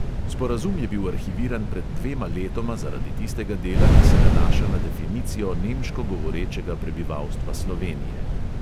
Sporazum je bil arhiviran pred dvema letoma zaradi tistega dela, ki se nanaša na definicijo nemško govorečega prebivalstva slovenije.